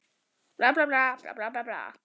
Breytingar sem þannig eru gerðar erfast ekki.